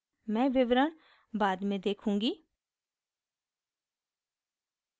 मैं विवरण बाद में देखूँगी